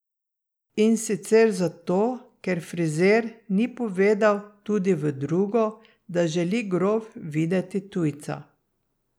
In sicer zato, ker frizer ni povedal tudi v drugo, da želi grof videti tujca.